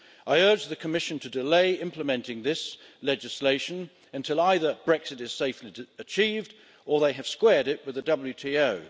I urge the Commission to delay implementing this legislation until either Brexit is safely achieved or they have squared it with the WTO.